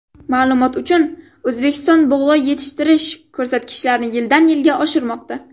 Ma’lumot uchun, O‘zbekiston bug‘doy yetishtirish ko‘rsatkichlarini yildan-yilga oshirmoqda.